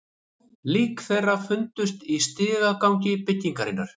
Lík þeirra fundust í stigagangi byggingarinnar